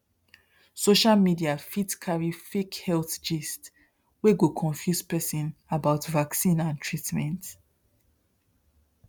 social media fit carry fake health gist wey go confuse person about vaccine and treatment